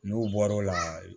N'u bɔr'o la